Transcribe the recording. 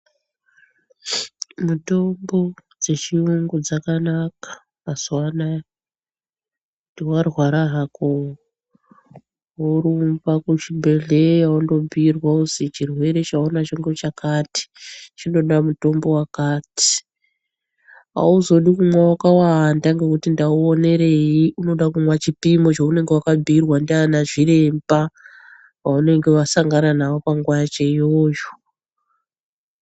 Mitombo dzechiyungu dzakanaka mazuwanaya kuti warwara hako worumba kuzvibhedhlera wondobhiirwa kuzi chirwere chaunacho ngochakati chinoda mutombo wakati, auzodi kumwa wakawanda ngekuti ndauonerei unoda kumwa chipimo chaunenge wakabhiirwa ndiana zviremba vanenge wakasangana navo panguva yacho iyoyo.